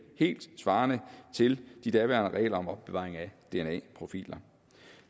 helt til de daværende regler om opbevaring af dna profiler